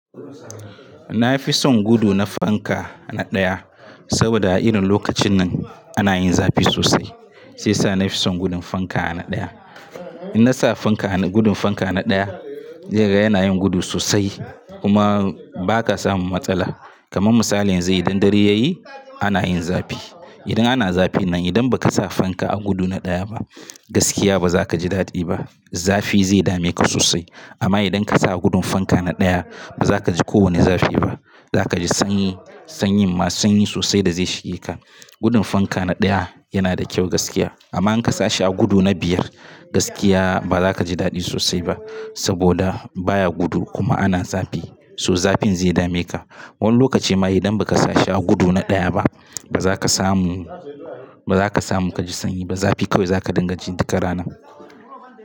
Na fi son gudu na fanka na ɗaya, saboda a irin lokacin nan ana yin zafi sosai. Shi yasa na fi son gudun fanka na ɗaya. In na sa fanka, gudun fanka na ɗaya, yana yin gudu sosai kuma ba ka samun matsala. Kaman misali yanzu idon dare, ya yi ana yin zafi. Idan ana zafin nan, idan ba ka sa fanka a gudu na ɗaya ba, gaskiya ba za ka ji daɗi ba. Zafi zai dame ka sosai. Amma idon ka sa gudun fanka na ɗaya, ba za ka ji kowane zafi ba. Za ka ji sanyi, sanyin, ma sanyi sosai da zai shige ka. Gudun fanka na ɗaya yana da kyau gaskiya. Amma in ka sa shi a gudu na biyar, gaskiya ba za ka ji daɗi sosai ba. Saboda baya gudu kuma ana zafi, so zafin zai dame ka. Woni lokaci ma idan ba ka sa shi a gudu na ɗaya ba, ba za ka samu, ba za ka samu ka ji sanyi ba. Zafi kawai za ka dingaji duk rana.